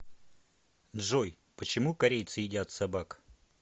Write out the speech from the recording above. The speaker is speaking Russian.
джой почему корейцы едят собак